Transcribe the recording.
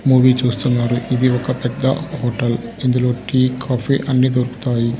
Movie చూస్తున్నారు ఇది ఒక పెద్ద హోటల్ ఇందులో టీ కాఫీ అన్ని దొరుకుతాయి.